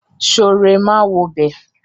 Sooré máa wobẹ̀.